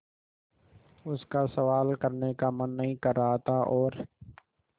उसका सवाल करने का मन नहीं कर रहा था और